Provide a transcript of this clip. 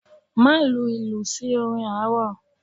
Má lu ìlù sí orin arò.